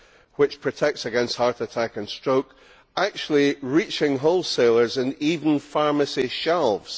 which protects against heart attack and stroke, actually reaching wholesalers and even pharmacy shelves.